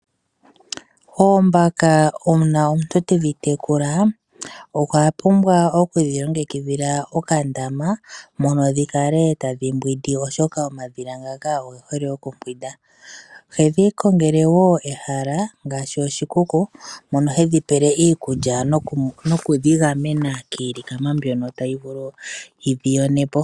Oombaka una omuntu tedhi tekula okwapumbwa okudhi longikidhila okandama moka tadhi kala tadhi mbwindi oshoka omadhila ngaka ogehole okumbwinda. Ohedhi kongele wo ehala ngaashi oshikuku moka hedhi pele iikulya nokudhi gamena kiilikama mbyoka tayi vulu okudhi yona po.